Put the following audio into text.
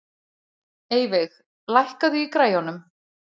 Eyveig, lækkaðu í græjunum.